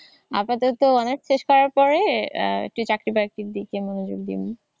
আপাতত অনার্স শেষ করার পরে চাকরি বাকরির দিকে মনোযোগ দিন।